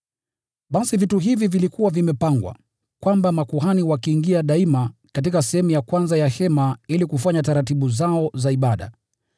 Basi vitu hivi vilipokuwa vimepangwa, makuhani waliingia daima katika sehemu ya kwanza ya hema ili kufanya taratibu zao za ibada.